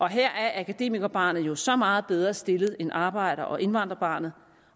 her er akademikerbarnet jo så meget bedre stillet end arbejder og indvandrerbarnet